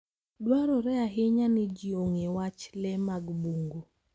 Dwarore ahinya ni ji ong'e wach le mag bungu.